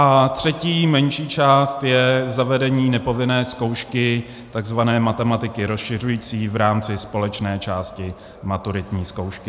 A třetí, menší část je zavedení nepovinné zkoušky, takzvané matematiky rozšiřující v rámci společné části maturitní zkoušky.